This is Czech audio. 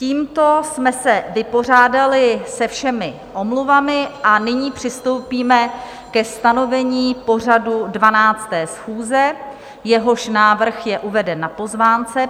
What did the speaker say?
Tímto jsme se vypořádali se všemi omluvami a nyní přistoupíme ke stanovení pořadu 12. schůze, jehož návrh je uveden na pozvánce.